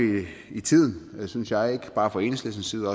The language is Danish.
i tiden synes jeg ikke bare fra enhedslistens side